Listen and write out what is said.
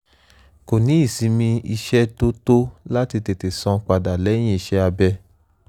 kò ní ìsinmi iṣẹ́ tó tó láti tètè sàn padà lẹ́yìn iṣẹ́ abẹ